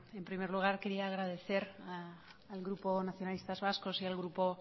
en primer lugar quería agradecer al grupo nacionalistas vascos y al grupo